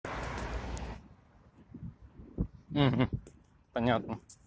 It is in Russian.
понятно